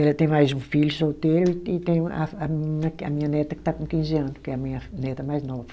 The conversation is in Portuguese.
Ela tem mais um filho solteiro e tem a a menina que é minha neta que está com quinze anos, que é a minha neta mais nova.